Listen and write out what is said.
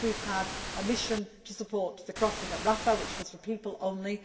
Yes, we have had a mission to support the crossing at Rafah, which was for people only.